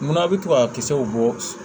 Munna a bɛ to ka kisɛw bɔ